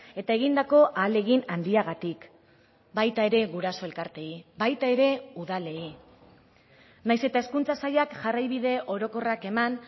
eta egindako ahalegin handiagatik baita ere guraso elkarteei baita ere udalei nahiz eta hezkuntza sailak jarraibide orokorrak eman